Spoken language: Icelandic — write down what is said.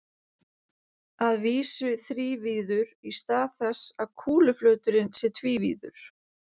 Að vísu þrívíður í stað þess að kúluflöturinn sé tvívíður.